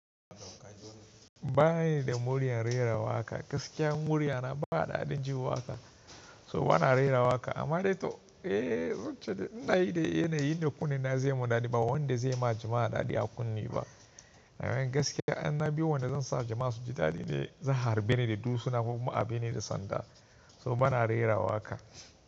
Ba ni da murya rera waƙa, gaskiya murya na ba daɗin ji waƙa. So bana rera waƙa amma dai to eh don cewa in na yi dai yana yin da kunne na zai yi mun daɗi ba wanda zai ma jama'a daɗi a kunne ba. Nan gaskiya in na bi wanda zan sa jama’a su ji daɗi ne za a harbe ni da dutsuna kuma a bi ni da sanda. So bana rera waƙa.